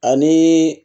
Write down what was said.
Ani